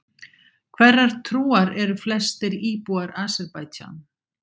Hverrar trúar eru flestir íbúar Azerbaijan?